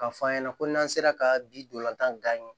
K'a fɔ an ɲɛna ko n'an sera ka bi dolantan